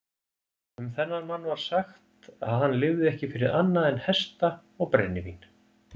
Um þennan mann var sagt að hann lifði ekki fyrir annað en hesta og brennivín.